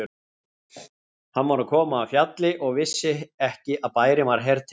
Hann var að koma af fjalli og vissi ekki að bærinn var hertekinn.